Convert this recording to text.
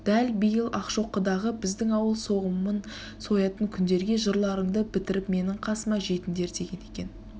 дәл биыл ақшоқыдағы біздің ауыл соғымын соятын күндерге жырларынды бітіріп менің қасыма жетіндер деген екен